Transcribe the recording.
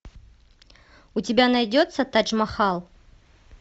у тебя найдется тадж махал